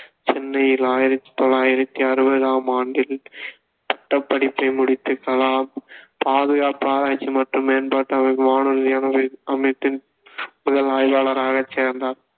சென்னையில் ஆயிரத்தி தொள்ளாயிரத்தி அறுவதாம் ஆண்டில் பட்டப்படிப்பை முடித்த கலாம் பாதுகாப்பு ஆராய்ச்சி மற்றும் மேம்பாட்டு அமைப்பின் வானூர்தி அமை~ அமைப்பின் முதல் அறிவியலாளராக சேர்ந்தார்